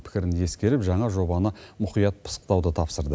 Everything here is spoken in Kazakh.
пікірін ескеріп жаңа жобаны мұқият пысықтауды тапсырды